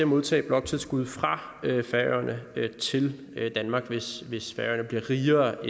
modtage bloktilskud fra færøerne til danmark hvis hvis færøerne bliver rigere